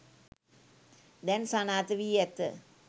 දැන් සනාථ වී ඇත.